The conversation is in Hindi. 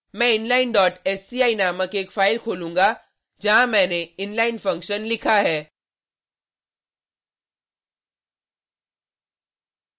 मैं inlinesci नामक एक फाइल खोलूँगा जहाँ मैंने inline फंक्शन लिखा है